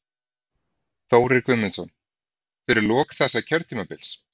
Þórir Guðmundsson: Fyrir lok þessa kjörtímabils?